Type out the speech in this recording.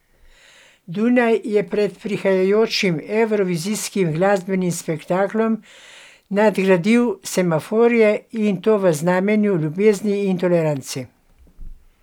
Dunaj je pred prihajajočim evrovizijskim glasbenim spektaklom nadgradil semaforje, in to v znamenju ljubezni in tolerance.